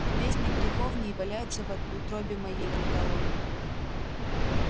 в бездне греховней валяюся во утробе моей бормотал он